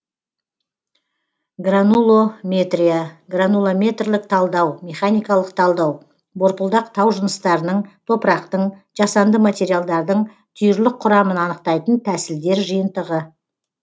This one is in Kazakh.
гранулометрия гранулометрлік талдау механикалық талдау борпылдақ тау жыныстарының топырақтың жасанды материалдардың түйірлік құрамын анықтайтын тәсілдер жиынтығы